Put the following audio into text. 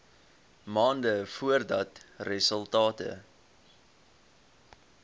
maande voordat resultate